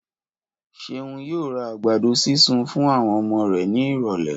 Ṣeun yóò ra àgbàdo sísun fún àwọn ọmọ rẹ̀ ní ìrọ̀lẹ́